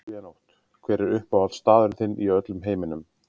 Silvía Nótt Hver er uppáhaldsstaðurinn þinn í öllum heiminum?